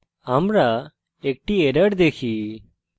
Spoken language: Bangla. আমরা একটি error দেখি